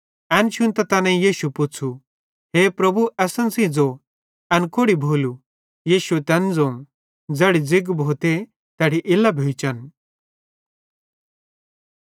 एन शुन्तां तैनेईं यीशुए पुच़्छ़ू हे प्रभु असन सेइं ज़ो एन कोड़ि भोलू यीशुए तैन ज़ोवं ज़ैड़ी ज़िग्ग भोते तैड़ी इल्लां जम्हां भोइचन